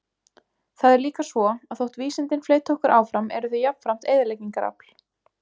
Það er líka svo, að þótt vísindin fleyti okkur áfram eru þau jafnframt eyðileggingarafl.